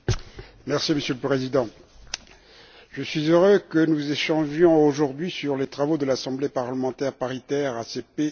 Monsieur le Président, je suis heureux que nous échangions aujourd'hui sur les travaux de l'Assemblée parlementaire paritaire ACP UE.